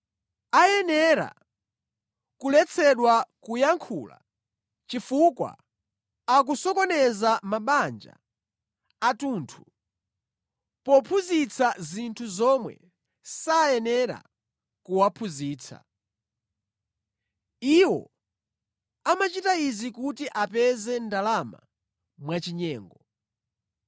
Ayenera kuletsedwa kuyankhula chifukwa akusokoneza mabanja athunthu pophunzitsa zinthu zomwe sayenera kuwaphunzitsa. Iwo amachita izi kuti apeze ndalama mwachinyengo.